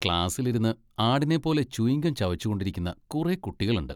ക്ലാസിലിരുന്ന് ആടിനെപ്പോലെ chewing gum ചവച്ചുകൊണ്ടിരിക്കുന്ന കുറെ കുട്ടികളുണ്ട്.